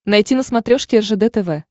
найти на смотрешке ржд тв